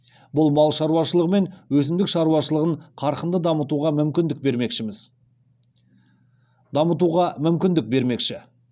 бұл мал шаруашылығы мен өсімдік шаруашылығын қарқынды дамытуға мүмкіндік бермекші